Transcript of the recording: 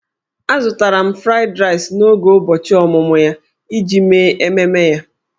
Azụtara m 'Fried Rice' n'oge ụbọchị ọmụmụ ya iji mee ememe ya.